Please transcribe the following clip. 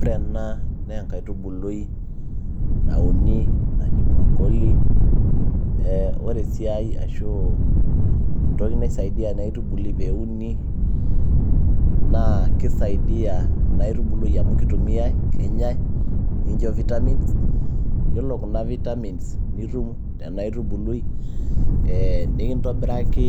ore ena naa enkaitubului nauni naji brocoli ore esiai ashu entoki naisaidia ena aitubului peuni naa kisaidia ena aitubului amu kitumiay, kenyay nikincho vitamins yiolo kuna vitamins nitum tena aitubului ee nikintobiraki